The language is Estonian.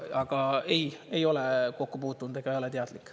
Aga ei, ei ole kokku puutunud ega ei ole teadlik.